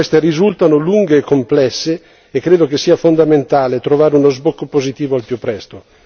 Anche se queste risultano lunghe e complesse, credo che sia fondamentale trovare uno sbocco positivo al più presto.